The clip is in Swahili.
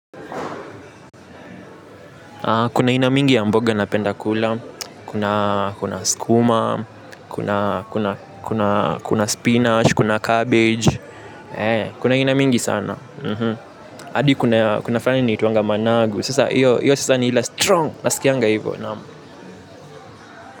Kuna aina mingi ya mboga napenda kula kuna skuma kuna spinach kuna cabbage kuna aina mingi sana. Adi kuna fulani ina itwanga managu sasa hiyo ni ile strong nasikianga hivo.